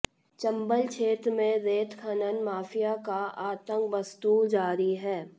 चंबल क्षेत्र में रेत खनन माफिया का आतंक बदस्तूर जारी है